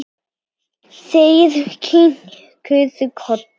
Þeir kinkuðu kolli.